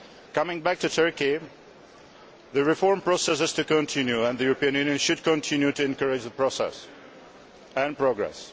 Coming back to Turkey, the reform process is to continue and the European Union should continue to encourage the process and progress.